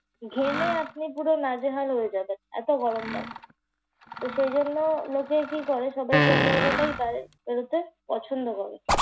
ঘেমে আপনি পুরো নাজেহাল হয়ে যাবেন। এত গরম লাগে। তাই সেজন্য লোকে কি করে সবাই সন্ধ্যাবেলাতেই বাইরে বেরোতে পছন্দ করে।